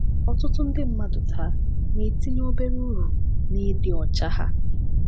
Ọtụtụ ndị mmadụ taa na-etinye obere uru na ịdị ọcha ha.